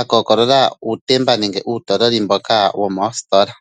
akookolola uutemba nenge uutololi mboka woomoositola.